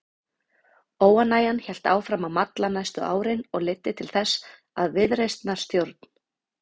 Óánægjan hélt áfram að malla næstu árin og leiddi til þess að viðreisnarstjórn